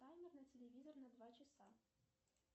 таймер на телевизор на два часа